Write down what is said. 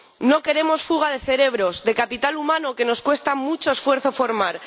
No queremos fuga de cerebros, de capital humano que nos cuesta mucho esfuerzo formar.